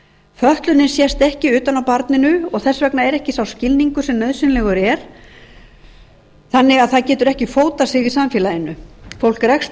fötlunin sést ekki utan á barninu og þess vegna er ekki sá skilningur sem nauðsynlegur er þannig að það getur ekki fótað sig í samfélaginu fólk rekst